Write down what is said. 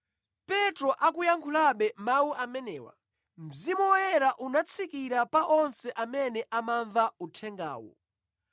Petro akuyankhulabe mawu amenewa, Mzimu Woyera unatsikira pa onse amene amamva uthengawo.